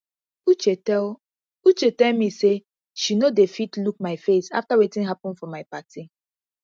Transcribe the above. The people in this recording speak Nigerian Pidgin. uche tell uche tell me say she no dey fit look my face after wetin happen for my party